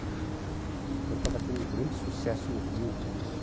Então, eu estava tendo um grande sucesso no Rio como